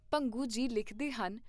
ਭੰਗੂ ਜੀ ਲਿਖਦੇ ਹਨ।